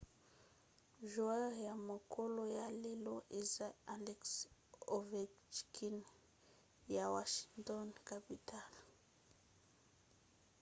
joueur ya mokolo ya lelo eza alex ovechkin ya washington capitals